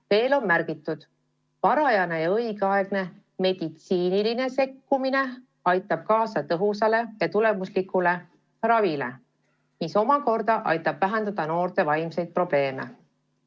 Veel on märgitud: "Varajane ja õigeaegne meditsiinilise sekkumine aitab kaasa tõhusale ja tulemuslikule ravile, mis omakorda aitab vähendada noorte vaimseid probleeme.